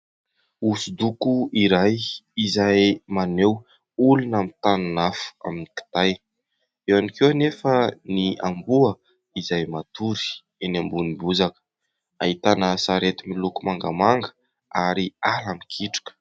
Hosodoko iray izay maneho olona mitanin'afo amin'ny kitay, eo ihany koa anefa ny amboa izay matory eny ambonin'ny bozaka, ahitana sarety miloko mangamanga ary ala mikitroka.